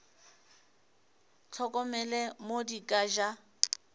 hlokomele mo di ka ja